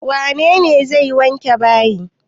Wane ne zai wanke bayi?